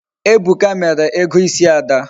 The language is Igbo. Ebuka mere ego isi Ada